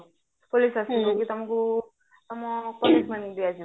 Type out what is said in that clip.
police ଆସିବା କି ତମକୁ ମାନଙ୍କୁ ଦିଆଯିବ